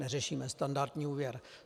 Neřešíme standardní úvěr.